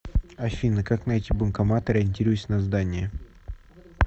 афина как найти банкомат ориентируясь на здание